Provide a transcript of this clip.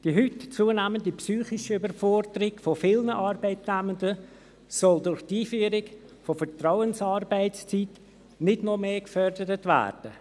Die heute zunehmende psychische Überforderung vieler Arbeitnehmenden soll durch die Einführung der Vertrauensarbeitszeit nicht noch mehr gefördert werden.